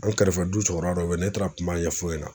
An kɛrɛfɛ du cɛkɔrɔba dɔ be ye ne taara kuma ɲɛf'o ɲɛna